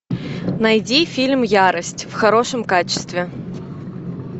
найди фильм ярость в хорошем качестве